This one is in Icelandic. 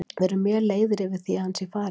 Við erum mjög leiðir yfir því að hann sé farinn.